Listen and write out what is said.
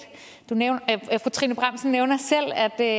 for trine bramsen nævner selv at der